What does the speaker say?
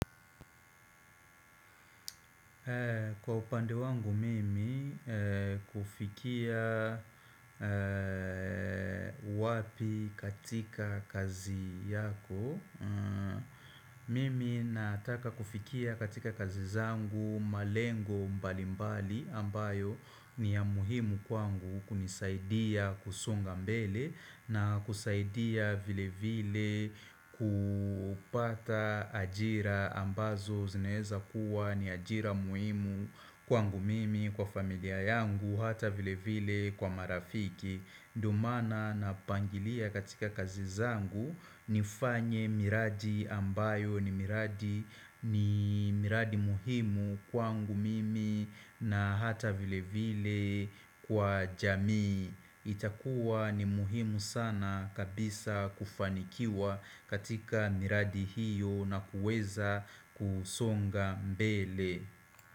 Kwa upande wangu mimi kufikia wapi katika kazi yako Mimi nataka kufikia katika kazi zangu malengo mbali mbali ambayo ni ya muhimu kwangu kunisaidia kusonga mbele na kusaidia vile vile kupata ajira ambazo zinaeza kuwa ni ajira muhimu kwangu mimi kwa familia yangu hata vile vile kwa marafiki ndo maana napangilia katika kazi zangu nifanye miradi ambayo ni miradi muhimu kwangu mimi na hata vile vile kwa jamii itakuwa ni muhimu sana kabisa kufanikiwa katika miradi hiyo na kuweza kusonga mbele.